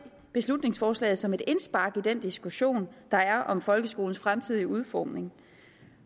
beslutningsforslaget som et indspark i den diskussion der er om folkeskolens fremtidige udformning